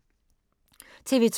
TV 2